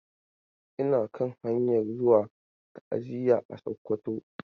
Ina kan hanyan zuwa ta'aziya a Sokoto.